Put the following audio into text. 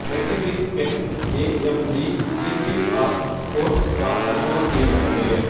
Mercedes Benz AMG GT R sports car அறிமுகம் செய்யபட்டது